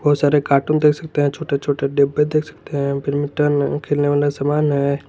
बहुत सारे कार्टून देख सकते हैं छोटे छोटे डिब्बे देख सकते हैं खेलने वाला समान है।